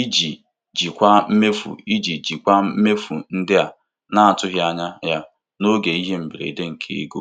iji jikwaa mmefu iji jikwaa mmefu ndị a na-atụghị anya ya n'oge ihe mberede nke ego.